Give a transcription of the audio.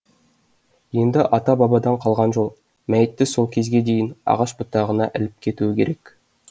енді ата бабадан қалған жол мәйітті сол кезге дейін ағаш бұтағына іліп кетуі керек